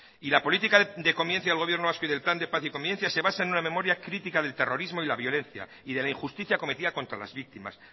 y la política de convivencia del gobierno vasco y del plan de paz y convivencia se basa en una memoria crítica del terrorismo y de la violencia y de la injusticia cometida contra las víctimas